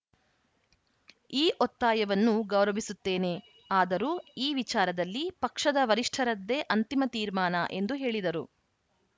ಈ ಒತ್ತಾಯವನ್ನು ಗೌರವಿಸುತ್ತೇನೆ ಆದರೂ ಈ ವಿಚಾರದಲ್ಲಿ ಪಕ್ಷದ ವರಿಷ್ಠರದ್ದೇ ಅಂತಿಮ ತೀರ್ಮಾನ ಎಂದು ಹೇಳಿದರು